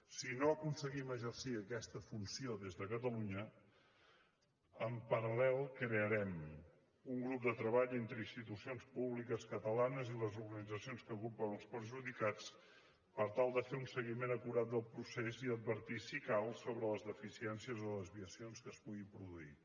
si no aconseguim exercir aquesta funció des de catalunya en paralun grup de treball entre institucions públiques catalanes i les organitzacions que agrupen els perjudicats per tal de fer un seguiment acurat del procés i advertir si cal sobre les deficiències o desviacions que es puguin produir